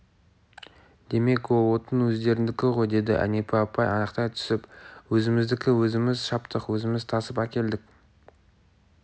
демек ол отын өздеріңдікі ғой деді әнипа апай анықтай түсіп өзіміздікі өзіміз шаптық өзіміз тасып әкелдік